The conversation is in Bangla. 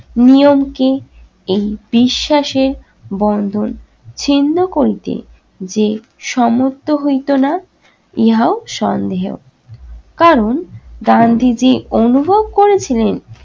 নিয়মকে এই বিশ্বাসে বন্ধন ছিন্ন করিতে যে সমর্থ হইতো না ইহাও সন্দেহ। কারণ গান্ধীজি অনুভব করেছিলেন